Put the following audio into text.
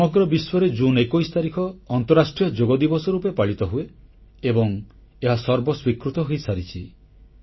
ସମଗ୍ର ବିଶ୍ୱରେ ଜୁନ୍ 21 ତାରିଖ ଅନ୍ତଃରାଷ୍ଟ୍ରୀୟ ଯୋଗ ଦିବସ ରୂପେ ପାଳିତ ହୁଏ ଏବଂ ଏହା ସର୍ବସ୍ୱୀକୃତ ହୋଇସାରିଛି